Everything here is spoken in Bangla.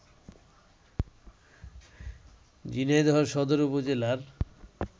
ঝিনাইদহ সদর উপজেলার